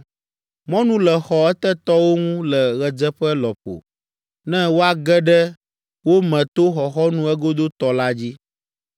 Mɔnu le xɔ etetɔwo ŋu le ɣedzeƒe lɔƒo ne woage ɖe wo me to xɔxɔnu egodotɔ la dzi.